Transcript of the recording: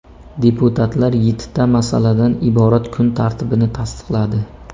Deputatlar yettita masaladan iborat kun tartibini tasdiqladi.